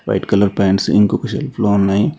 White colour pants ఇంకొక షర్ట్లు ఉన్నాయ్.